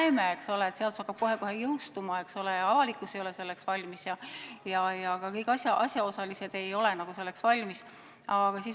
Me näeme, eks ole, et seadus kohe-kohe jõustub, aga avalikkus ei ole selleks valmis ja ka kõik asjaosalised ei ole selleks valmis.